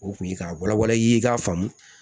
O tun ye ka walawala i ye i k'a faamu